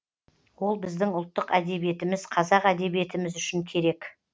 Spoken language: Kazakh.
ол біздің ұлттық әдебиетіміз қазақ әдебиетіміз үшін керек